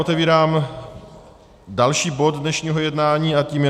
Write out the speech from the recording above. Otevírám další bod dnešního jednání a tím je